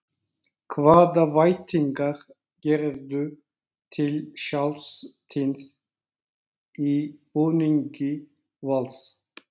Hvaða væntingar gerirðu til sjálfs þíns í búningi Vals?